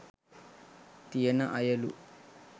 තියෙන අයලු